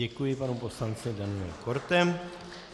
Děkuji panu poslanci Danielu Kortemu.